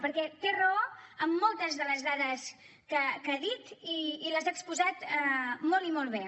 perquè té raó en moltes de les dades que ha dit i les ha exposat molt i molt bé